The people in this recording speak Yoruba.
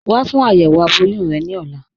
Wà fún ayéwo abọ̀yún rẹ ni ọ̀là.